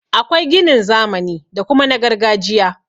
Akwai ginin zamani da kuma na gargajiya.